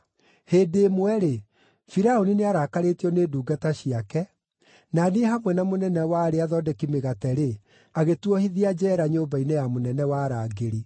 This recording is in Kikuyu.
Hĩndĩ ĩmwe-rĩ, Firaũni nĩarakarĩtio nĩ ndungata ciake; na niĩ hamwe na mũnene wa arĩa athondeki mĩgate-rĩ, agĩtuohithia njeera nyũmba-inĩ ya mũnene wa arangĩri.